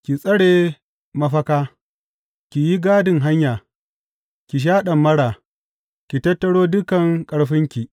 Ki tsare mafaka, ki yi gadin hanya ki sha ɗamara ki tattaro dukan ƙarfinki!